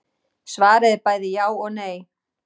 Svarið er bæði já og nei.